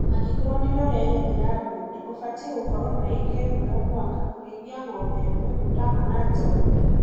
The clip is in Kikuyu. Angĩkorwo nĩwe ũrerĩmĩra boda ,ũbatie gũkorwo na ĩka imwe o mwaka kũrĩithia ng'ombe ĩmwe, mũtama, na njaũ ĩmwe.